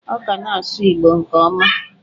Ọ ka na-asụ Igbo nke ọma.